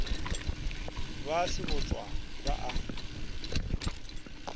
ba a sebotšwa ba a